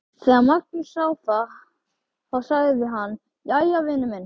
Þegar Magnús sá það sagði hann: Jæja, vinur minn.